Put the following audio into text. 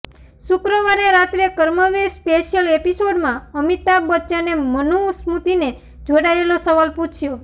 શુક્રવારે રાત્રે કર્મવીર સ્પેશિયલ એપિસોડમાં અમિતાભ બચ્ચને મનુ સ્મૃતિને જોડાયેલો સવાલ પૂછ્યો